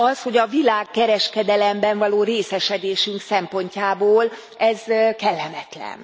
Az, hogy a világkereskedelemben való részesedésünk szempontjából ez kellemetlen.